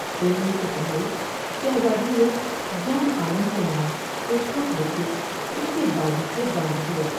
اڑنے سے پہلے شہزادی نے جان عالم کے نام ایک خط لکھ کے اس کے بازو سے باندھ دیا ۔